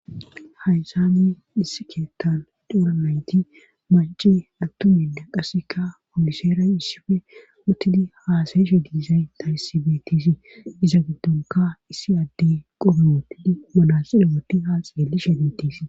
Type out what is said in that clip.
haysani issi keettan doura mayti manci attuminda qaseka fomiseeray issife hotidi haasayeshe diisay tanisibetiisi iza giddonka issi adde qobihootidi manasire wooti haaxeelishe nitiisi